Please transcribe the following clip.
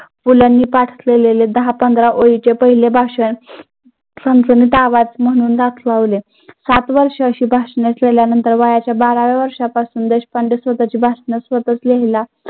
पु ल नी पाठ केलेले दहा पंधरा ओळींचे पहिले भाषण सात वर्ष अशी भाषण केल्यानंतर वयाच्या बाराव्या देशपांडे स्वतःचे भाषण स्वतःच लिहायला